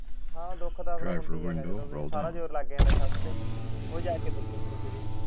ਹਾਂ ਦੁੱਖ ਤਾਂ ਹੁੰਦਾ ਹੀ ਆ ਵੀ ਸਾਰਾ ਜ਼ੋਰ ਲਗ ਗਯਾ ਨੇ ਛੱਤ ਤੇ .